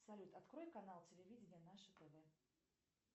салют открой канал телевидение наше тв